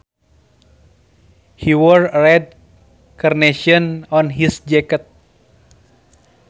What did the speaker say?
He wore a red carnation on his jacket